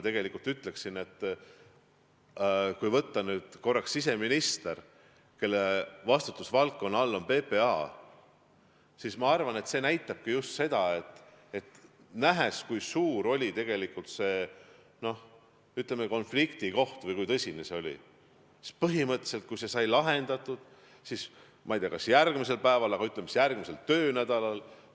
Kui võtta siseminister, kelle vastutusvaldkonnas on PPA, siis ma arvan, et nähes, kui suur oli tegelikult see konfliktioht, kui tõsine see olukord oli, siis põhimõtteliselt sai see lahendatud mitte just järgmisel päeval, aga, ütleme siis, järgmisel töönädalal.